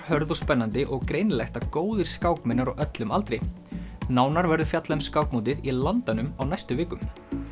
hörð og spennandi og greinilegt að góðir skákmenn eru á öllum aldri nánar verður fjallað um skákmótið í Landanum á næstu vikum